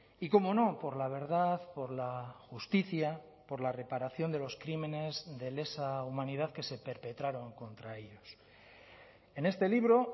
y cómo no por la verdad por la justicia por la reparación de los crímenes de lesa humanidad que se perpetraron contra ellos en este libro